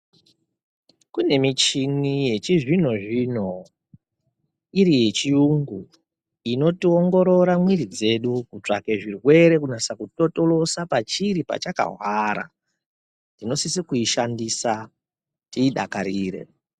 Kune michini yechizvino zvino iri yechiyungu inotiongorora mwiri dzedu kutsvake zvirwere kunyase kutotolosa pachiri pachakahwara, tinosise kuishandisa tiidakarire.